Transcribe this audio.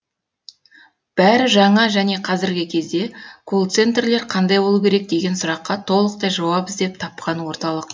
бәрі жаңа және қазіргі кезде колл центрлер қандай болу керек деген сұраққа толықтай жауап іздеп тапқан орталық